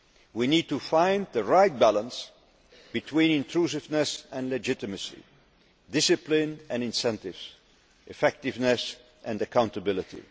We need to find the right balance between intrusiveness and legitimacy, discipline and incentives, effectiveness and accountability.